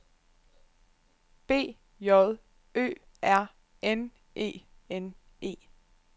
B J Ø R N E N E